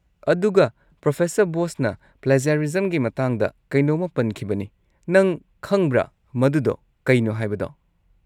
ꯑꯗꯨꯒ, ꯄ꯭ꯔꯣꯐ. ꯕꯣꯁꯅ ꯄ꯭ꯂꯦꯖꯔꯤꯖꯝꯒꯤ ꯃꯇꯥꯡꯗ ꯀꯩꯅꯣꯝꯃ ꯄꯟꯈꯤꯕꯅꯤ; ꯅꯪ ꯈꯪꯕ꯭ꯔꯥ ꯃꯗꯨꯗꯣ ꯀꯩꯅꯣ ꯍꯥꯏꯕꯗꯣ?